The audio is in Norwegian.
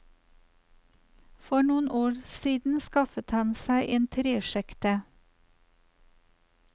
For noen år siden skaffet han seg en tresjekte.